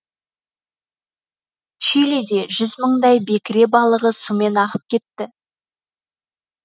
чилиде жүз мыңдай бекіре балығы сумен ағып кетті